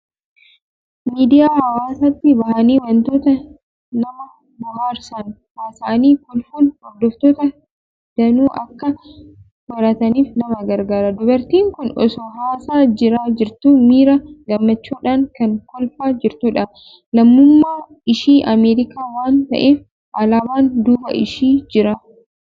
Miidiyaa hawaasaatti bahanii waantota nama bohaarsan haasa'anii kolfuun hordoftoota danuu akka horataniif nama gargaara. Dubartiin kun osoo haasaa irra jirtuu miira gammachuudhaan kan kolfaa jirtudha. Lammummaan ishii Ameerikaa waan ta'eef, alaabaan duuba ishii jira.